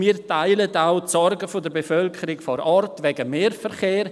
Wir teilen auch die Sorgen der Bevölkerung vor Ort wegen des Mehrverkehrs: